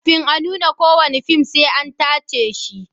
Kafin a nuna kowane fim sai an tace shi.